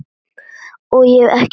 Ég er ekki blíð.